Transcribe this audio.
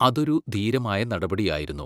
അതൊരു ധീരമായ നടപടിയായിരുന്നു.